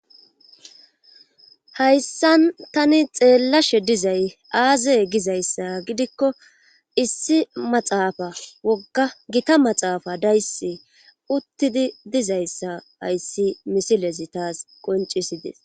Hayssan tani xeellashshe dizay aaze gizayssa gidikko issi maxaafa wogga gitta maxaafa daysse uttidi dizayssa ayssi misilezi taas qoncisides